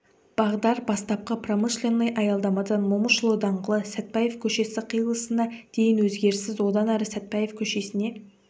бағдар бастапқы промышленный аялдамадан момышұлы даңғылы сатпаев көшесі қиылысына дейін өзгеріссіз одан әрі сатпаев көшесіне